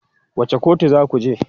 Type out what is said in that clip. Wace kotu za ku je?